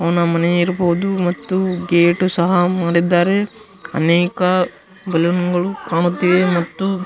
ಅವನ ಮನೆ ಇರಬಹುದು ಮತ್ತು ಗೇಟು ಸಹ ಮಾಡಿದ್ದಾರೆ ಅನೇಕ ಬಲೂನ್ಗಳು ಕಾಣುತ್ತಿವೆ ಮತ್ತು --